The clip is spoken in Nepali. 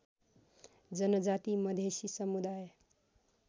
जनजाति मधेशी समुदाय